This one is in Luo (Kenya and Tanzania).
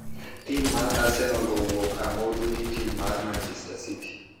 Tim mar Arsenial owuok amodhi gi tim mar Manichester city.